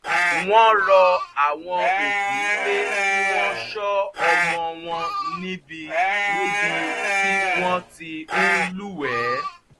wọ́n rọ àwọn òbí pé kí wọ́n ṣọ́ ọmọ wọn níbi níbi tí wọ́n ti ń lúwẹ̀ẹ́